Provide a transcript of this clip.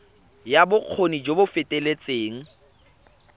ya bokgoni jo bo feteletseng